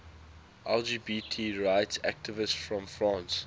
lgbt rights activists from france